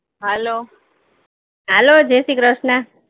Hello